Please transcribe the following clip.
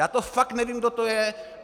Já to fakt nevím, kdo to je.